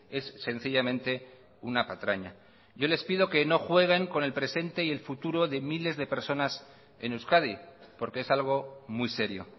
es sencillamente una patraña yo les pido que no jueguen con el presente y el futuro de miles de personas en euskadi porque es algo muy serio